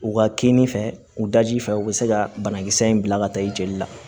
U ka kini fɛ u daji fɛ u bɛ se ka banakisɛ in bila ka taa i jeli la